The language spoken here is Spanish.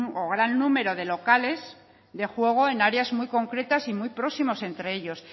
o gran número de locales de juego en áreas muy concretas y muy próximos entre ellos